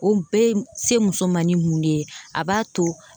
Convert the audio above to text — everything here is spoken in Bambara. O bɛ se muso ma ni mun de ye a b'a to